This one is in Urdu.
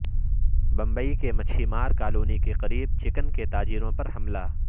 بمبئی کے مچھی مار کالونی کے قریب چکن کے تاجروں پر حملہ